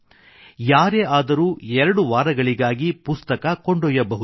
ಯಾರೇ ಆದರೂ ಎರಡು ವಾರಗಳಿಗಾಗಿ ಪುಸ್ತಕ ಕೊಂಡೊಯ್ಯಬಹುದು